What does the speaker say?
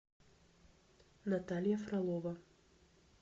наталья фролова